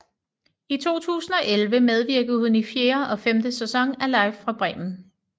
I 2011 medvirkede hun i fjerde og femte sæson af Live fra Bremen